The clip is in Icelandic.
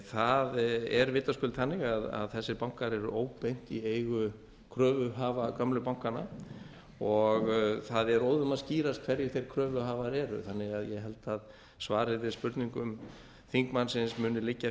það er vitaskuld þannig að þessir bankar eru óbeint í eigu kröfuhafa gömlu bankanna og það er óðum að skýrst hverjir þeir kröfuhafar eru þannig að ég held að svarið við spurningum þingmannsins muni liggja